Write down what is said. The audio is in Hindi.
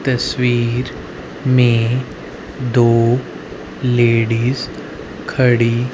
तस्वीर में दो लेडिस खड़ी--